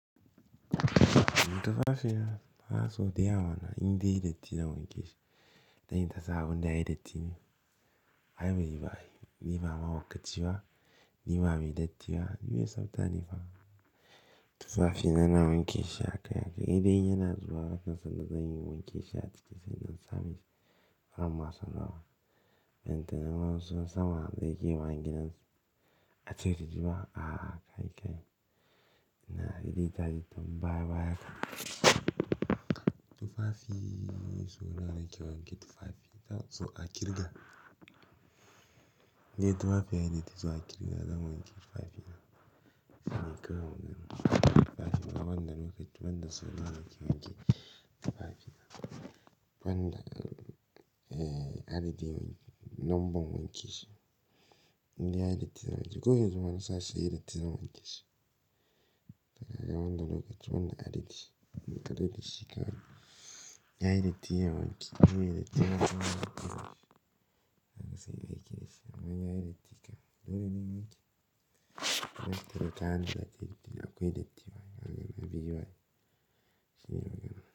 Tufafi na so daya wane inda ya yi datti zan wanke shi. Dan ita sabon daya datti ne. Ai bai yi ba yi. Ni ba ma hauka ci ba, ni ba mai datti ba, ni mai tsafta ne fa. Tufafi na na wanke shi haka haka. Idan yana zuwa lokacin sallah zan yi wanke shi a cikin cikin nan Samin farin masan rawa. Idan ta nan ransu sama zai ke wa gidan a ce ta ji ba, a'a kai kai. Ina adi daji don baya baya ka. Tufafiii suna da ke wanke tufafi, so a ƙirga. Ne tufafi ya yi datti so a ƙirga, zan wanke tufafi na. Zan kai wa wanke tufafi na. Wanda lokaci wanda sau da wanke wanke tufafi na. Wanda, eh, adadi wanke, nomban wanke shi. Inda ya yi datti zan wanke. Ko ya zama na sace ya yi datti zan wanke shi. Wanda lokaci wanda adadi, lokacin da shi ka wanke. Ya yi datti ya wanke. Ya yi datti zan wanke shi. Zan saki baƙi da shi. Wanga ya yi datti ka. Lokacin da yake. Lokacin da ka hannu da titin akwai datti ba. Gangan na biyu ba yi. Shiyawa gangan.